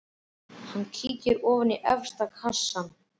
Hann kíkir ofan í efsta kassann.